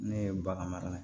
Ne ye bagan mara